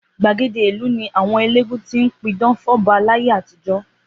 Gbàgede ìlú ni àwọn eléégún tí ń pidán fọ́ba láyé àtijọ́.